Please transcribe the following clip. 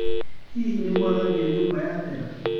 Hihi nĩwathambia nyũmba yathera?